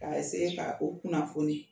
Ka ka o kunnafoni.